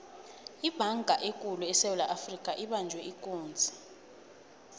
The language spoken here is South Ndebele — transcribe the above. ibhanga ekulu esewula afrika ibanjwe ikunzi